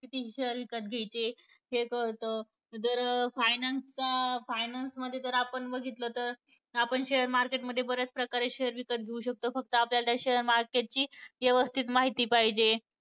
किती share विकत घ्यायचे हे कळतं. जर finance चा finance मध्ये जर आपण बघितलं तर, आपण share market मध्ये बऱ्याच प्रकारे share विकत घेऊ शकतो. फक्त आपल्याला त्या share market ची व्यवस्थित माहिती पाहिजे.